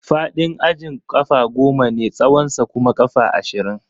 Faɗin ajin ƙafa goma ne, tsawonsa kuma ƙafa ashirin.